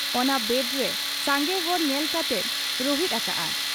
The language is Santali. ᱚᱱᱟ ᱣᱟᱰᱨᱮ ᱥᱟᱸᱜᱮ ᱦᱚᱲ ᱧᱮᱞ ᱠᱟᱛᱮᱭ ᱨᱩᱦᱮᱫ ᱟᱠᱟᱜ ᱟ ᱾